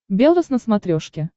белрос на смотрешке